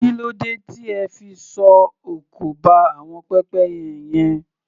Kí ló dé tí ẹ fi sọ òkò ba àwọn pépẹ́yẹ yẹn?